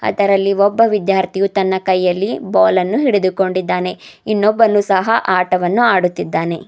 ಅದರಲ್ಲಿ ಒಬ್ಬ ವಿದ್ಯಾರ್ಥಿಯು ತನ್ನ ಕೈಯಲ್ಲಿ ಬಾಲನ್ನು ಹಿಡಿದುಕೊಂಡಿದ್ದಾನೆ ಇನ್ನೊಬ್ಬನು ಸಹ ಆಟವನ್ನು ಆಡುತ್ತಿದ್ದಾನೆ.